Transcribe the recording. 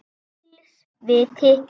Ills viti